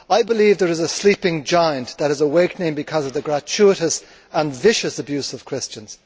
I believe there is a sleeping giant that is awakening because of the gratuitous and vicious abuse of Christians.